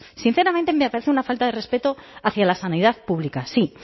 sinceramente me parece una falta de respeto hacia la sanidad pública sí